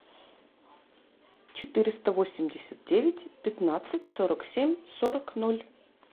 четыреста восемьдесят девять пятнадцать сорок семь сорок ноль